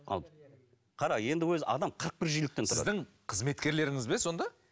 ал қара енді өзі адам қырық бір жиіліктен сіздің қызметкерлеріңіз бе сонда